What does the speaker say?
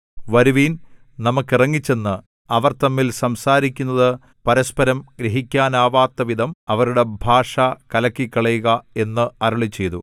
വരുവിൻ നമുക്ക് ഇറങ്ങിച്ചെന്ന് അവർ തമ്മിൽ സംസാരിക്കുന്നത് പരസ്പരം ഗ്രഹിക്കാനാവാത്തവിധം അവരുടെ ഭാഷ കലക്കിക്കളയുക എന്നു അരുളിച്ചെയ്തു